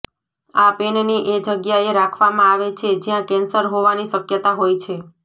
આ પેનને એ જગ્યાએ રાખવામાં આવે છે જ્યાં કેન્સર હોવાની શક્યતા હોય છે